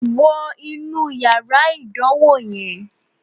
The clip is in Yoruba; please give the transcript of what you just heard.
Wo inú yàrá ìdánwò yẹn